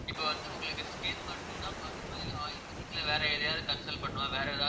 இப்ப வந்து உங்களுக்கு skin மட்டும்தான் பாக்கணுமா இல்லை ayurvedic ல வேற எதையாவது consult பண்ணணுமா வேற எதா~